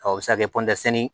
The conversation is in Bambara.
Ɔ o bɛ se ka kɛ